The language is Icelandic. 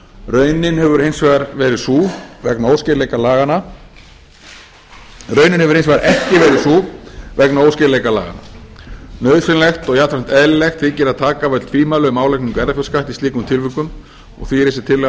raunin hefur hins vegar ekki verið sú vegna óskýrleika laganna nauðsynlegt og jafnframt eðlilegt þykir að taka af öll tvímæli um álagningu erfðafjárskatts í slíkum tilvikum og því er þessi tillaga